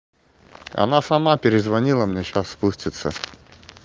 она сама перезвонила мне сейчас спустится